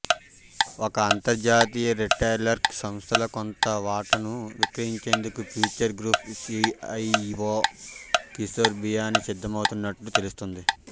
ఒక అంతర్జాతీయ రిటైలర్కు సంస్థలో కొంత వాటాను విక్రయించేందుకు Future Group CEO Kishore Biyani సిద్ధమవుతున్నట్టు తెలుస్తోంది